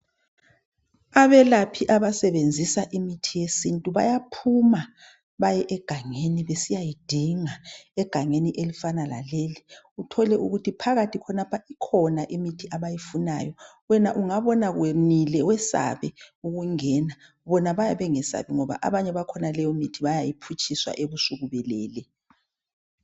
Abelephi abasebenzisa imithi yesintu bayaphuma baye egangeni besiyayidinga egangeni elifana laleli uthole ukuthi phakathi khonapha kukhona imithi abayifunayo wena ungabona kwenile wesabe ukungena bona bayabe bengasabi ngoba abanye bakhona leyomithi bayayiphutshiswa ebusuku belele.